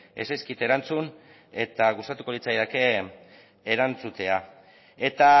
ez zaizkit erantzun eta gustatuko litzaidake erantzutea eta